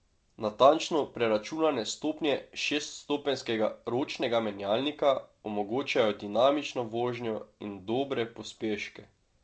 Natančno preračunane stopnje šeststopenjskega ročnega menjalnika omogočajo dinamično vožnjo in dobre pospeške.